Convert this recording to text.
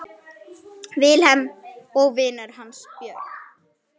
Vilhelm og vinur hans Björn.